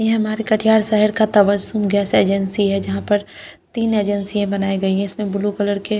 ये हमारे कठियार साइड का तवर सून गैस एजेंसी है जहां पर तीन एजेंसियां बनायी गई है इसमें ब्लू कलर के--